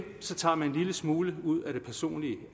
tager man en lille smule ud af det personlige